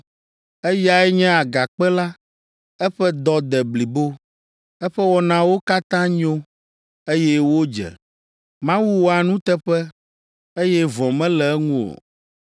Eyae nye Agakpe la. Eƒe dɔ de blibo eƒe wɔnawo katã nyo, eye wodze. Mawu wɔa nuteƒe, eye vɔ̃ mele eŋu o.